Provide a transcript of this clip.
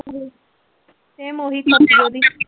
Same ਉਹੀ ਚੀਜ਼